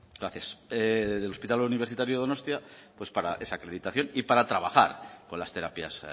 gracias hospital universitario donostia para esa acreditación y para trabajar con las terapias